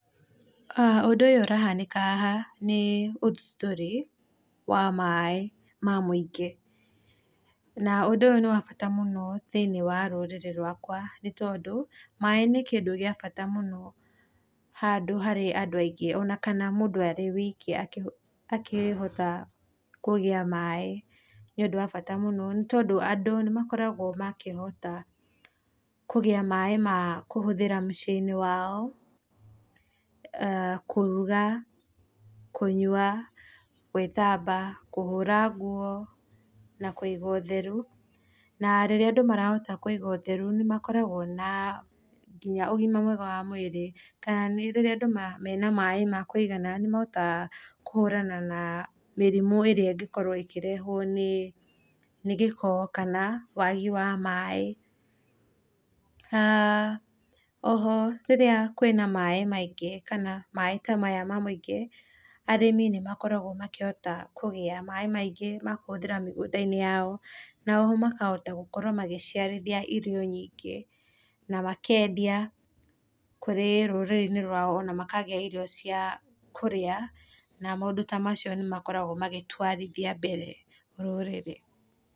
Ũndũ ũyũ ũrahanĩka haha nĩ ũthundũri wa maĩ ma mũingĩ, na ũndũ ũyũ nĩ wabata mũno thĩinĩ wa rũrĩrĩ rwakwa nĩ tondũ maĩ nĩ kĩndũ gĩa bata mũno, handũ harĩ andũ aingĩ kana mũndũ arĩ wiki akĩhota kũgĩa maĩ, nĩ ũndũ wa bata tondũ andũ nĩ makoragwo, makĩhota kũgĩa maĩ ma kũhũthĩra ta mũciĩ-inĩ wao, kũruga, kũnyua, gwĩthamba, kũhũra nguo na kũiga ũtheru na rĩrĩa andũ marahota kũiga ũtheru nĩ makoragwo na nginya ũgima mwega wa mwĩrĩ kana nĩ rĩrĩa andũ makoragwo na maĩ makũigana nĩ mahotaga kũhũrana na mĩrimũ ĩrĩa ĩngĩ korwo ĩkĩrehwo nĩ gĩko kana wagi wa maĩ. Aah oho rĩrĩa kwĩna maĩ maingĩ kana maĩ ta maya ma mũingĩ arĩmi nĩ makoragwo makĩhota kũgĩa maĩ maingĩ ma kũhũthĩra mĩgũnda-inĩ yao na ũguo makahota gũkorwo magĩciarithia irio nyingĩ na makendia kũrĩ rũrĩrĩ-inĩ rwao ona makagĩa iria cia kũrĩa na maũndũ ta macio nĩ makoragwo magĩtwarithia mbere rũrĩrĩ.